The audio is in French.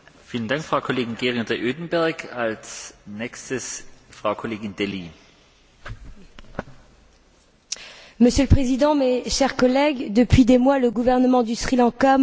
Monsieur le Président, mes chers collègues, depuis des mois, le gouvernement du Sri Lanka maintient une chape de plomb sur la situation des civils tamouls, entravant l'accès aux médias étrangers et aux organisations humanitaires.